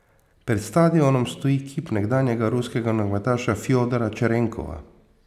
Pred stadionom stoji kip nekdanjega ruskega nogometaša Fjodora Čerenkova.